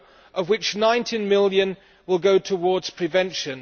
of which EUR 19 million will go towards prevention.